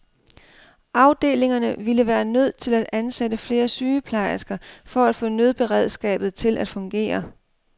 Afdelingerne ville være nødt til at ansætte flere sygeplejersker for at få nødberedskabet til at fungere.